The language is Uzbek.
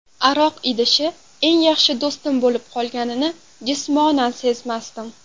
Aroq idishi eng yaxshi do‘stim bo‘lib qolganini jismonan sezmasdim.